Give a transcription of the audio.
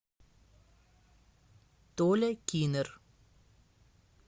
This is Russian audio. толя кинер